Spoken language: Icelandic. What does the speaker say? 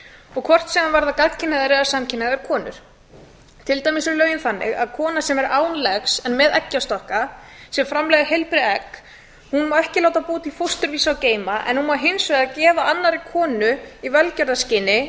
og hvort sem þær verða gagnkynhneigðar eða samkynhneigðar konur á eru lögin þannig að kona sem er án egg en með eggjastokka sem framleiða heilbrigð egg má ekki láta búa til fóstur til að geyma en hún má hins vegar gefa annarri konu í velferðarskyni